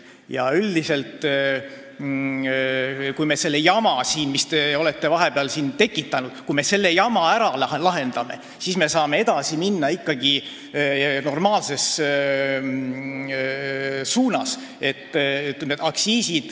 Ja kui me selle jama, mis te olete siin vahepeal tekitanud, ära lahendame, siis saame edasi minna normaalses suunas.